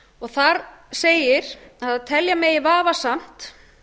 þar segir að telja megi vafasamt